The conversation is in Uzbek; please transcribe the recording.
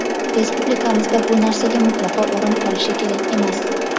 Respublikamizda bu narsaga mutlaqo o‘rin qolishi kerak emas.